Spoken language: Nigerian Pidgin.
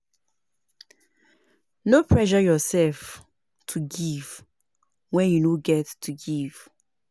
No pressure yourself to give when you no get to give